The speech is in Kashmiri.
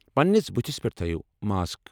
پننِس بٔتھِس پٮ۪ٹھ تٔھٲیِو ماسک۔